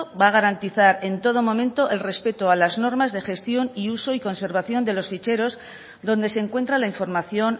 va a garantizar en todo momento el respeto a las normas de gestión y uso y conservación de los ficheros donde se encuentra la información